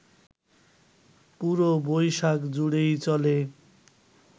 পুরো বৈশাখ জুড়েই চলে